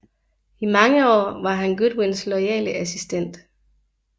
I mange år var han Godwyns loyale assistent